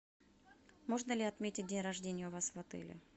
можно ли отметить день рождения у вас в отеле